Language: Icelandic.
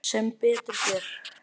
Sem betur fer